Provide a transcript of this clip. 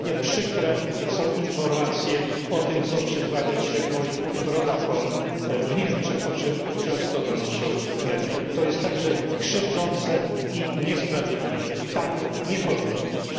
Podobnie przykre są informacje o tym, co przytrafia się moim rodakom w Niemczech, o czym często donoszą media. To jest także krzywdzące i niesprawiedliwe. Tak nie powinno być.